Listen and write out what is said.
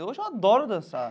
Hoje eu adoro dançar.